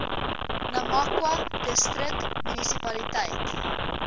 namakwa distrik munisipaliteit